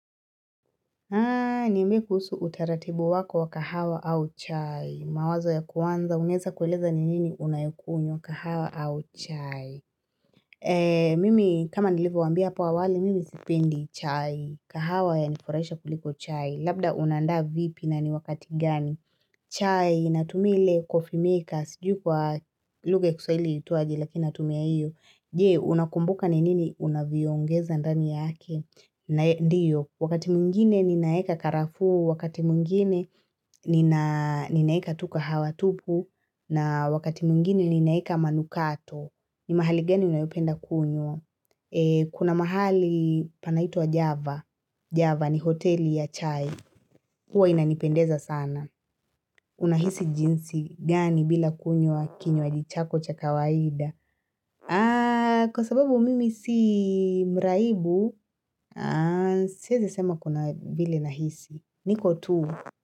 Haa, niambie kuhusu utaratibu wako wa kahawa au chai. Mawazo ya kuanza, unaeza kueleza ni nini unayokunywa kahawa au chai. Mimi kama nilivyowaambia hapo awali, mimi sipendi chai. Kahawa yanifurahisha kuliko chai, labda unaandaa vipi na ni wakati gani. Chai, natumia ile coffee maker, sijui kwa lugha ya kiswahili liitwaje, lakini natumia iyo. Jee, unakumbuka ni nini unaviongeza ndani yake. Ndiyo, wakati mwingine ninaeka karafu, wakati mwingine ninaeka tu kahawa tupu, na wakati mwingine ninaeka manukato, ni mahali gani unayopenda kunywa. Kuna mahali panaitwa Java, Java ni hoteli ya chai, huwa inanipendeza sana. Unahisi jinsi gani bila kunywa kinywaji chako cha kawaida. Kwa sababu mimi si mraibu, siezi sema kuna vile nahisi. Niko tu?